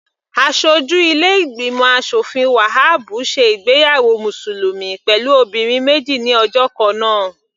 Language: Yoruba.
Aṣojú ilé ìgbìmọ̀ aṣòfin Wahabu ṣe ìgbéyàwó mùsùlùmí pẹ̀lú obìnrin méjì ní ọjọ́ kannáà.